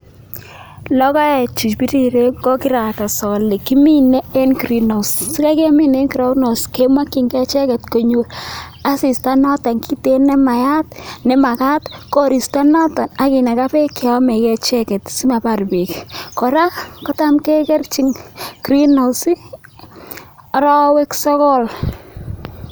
Logoeche piriren ko kirakas ale kimine eng greenhouse sire kimine eng greenhouse kemekchini icheket konyor asista noto kitiigin nemakat, koristo noto ak kinakaa beek cheyomekee icheket simabaar beek. Kora kotam kekerchin green house[cs arawek sogol.